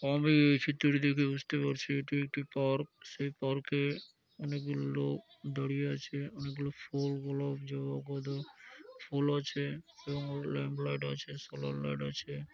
আমি এই চিত্রটি দেখে বুঝতে পারছি এটি একটি পার্ক সেই পার্ক - এ অনেকগুলো লোক দাঁড়িয়ে আছে অনেকগুলো ফুল গোলাপ জবা গাঁদা ফুল আছে এবং ল্যাম্পলাইট আছে শোলারলাইট আছে।